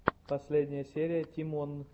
последняя серия тимон